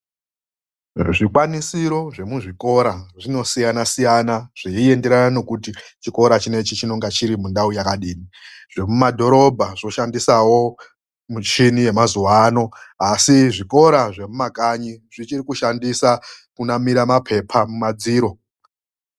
Zvikwanisiro zvemuzvikora zvinosiyanasiyana zveienderana nekuti chikora chinechi chinonga chiri mundau yakadini. Zvemumadhorobha zvoshandisawo muchini yemazuwa ano, asi zvikora zvemumakanyi zvichiri kushandisa kunamira maphepha mumadziro.